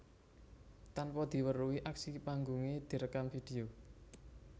Tanpa diweruhi aksi panggungé direkam vidéo